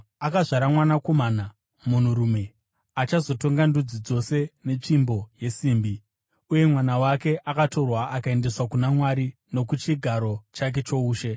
Akazvara mwanakomana, munhurume, achazotonga ndudzi dzose netsvimbo yesimbi. Uye mwana wake akatorwa akaendeswa kuna Mwari nokuchigaro chake choushe.